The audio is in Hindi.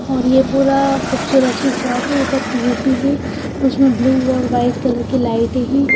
और ये पूरा खूबसूरत सी शॉप है ऊपर पी_ओ_पी है उसमें ब्लू और वाइट कलर की लाइटें हैं।